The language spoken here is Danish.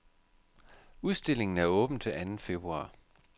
Udstillingen er åben til anden februar.